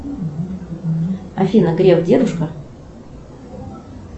афина греф дедушка